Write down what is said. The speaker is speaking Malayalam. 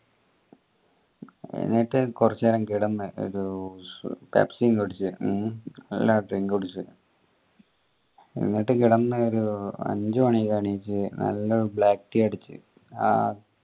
എന്നിട്ട് കൊറച്ചു നേരം കെടന്ന് Pepsi ഉം കുടിച് കുടിച് എന്നിട്ട് കെടന്ന് ഒരു അഞ്ചു മണിക്ക് എണീച് നല്ല ഒരു black tea അടിച് ആഹ്